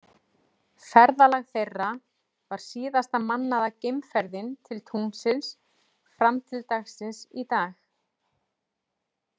Ferðalag þeirra var síðasta mannaða geimferðin til tunglsins fram til dagsins í dag.